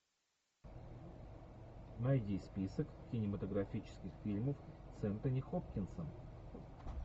найди список кинематографических фильмов с энтони хопкинсом